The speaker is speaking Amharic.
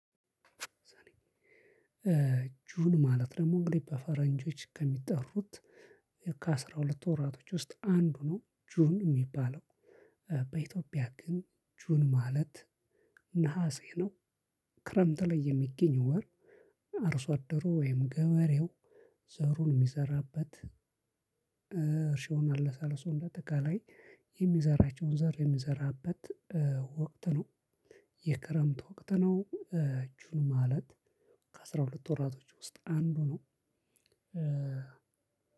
ጁን ማለት ደግሞ እንግዲህ በፈረንጆች ከሚጠሩት ከአስራ ሁለት ወራቶች ውስጥ አንዱ ነው ጁን የሚባለው። በኢትዮጵያ ግን ጁን ማለት ነሀሴ ነው? ክረምት ላይ የሚገኝ ወር አርሶ አደሩ ወይም ገበሬው ዘሩን የሚዘራበት። እርሻውን አለሳልሶ እንደአጠቃላይ የሚዘራቸውን ዘር የሚዘራበት ወቅት ነው። የክረምት ወቅት ነው። ጁን ማለት ከአስራ ሁለት ወራቶች ውስጥ አንዱ ነው።